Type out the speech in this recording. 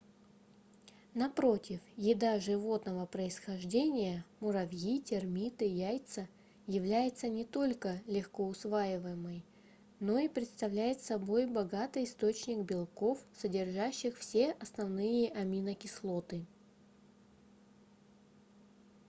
напротив еда животного происхождения муравьи термиты яйца является не только легкоусвояемой но и представляет собой богатый источник белков содержащих все основные аминокислоты